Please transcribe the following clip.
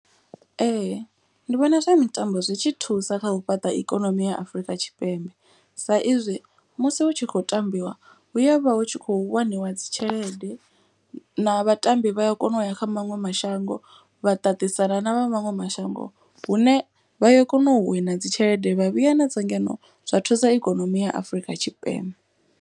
Ee ndi vhona zwa mitambo zwi tshi thusa kha u fhaṱa ikonomi ya Afurika Tshipembe. Sa izwi musi hu tshi khou tambiwa hu ya vha hu tshi khou waniwa dzi tshelede. Na vhatambi vha ya kona u ya kha maṅwe mashango vha ṱaṱisana na vha maṅwe mashango. Hune vha ya kona u wina dzi tshelede vha vhuya na dzo ngeno zwa thusa ikonomi ya Afurika Tshipembe.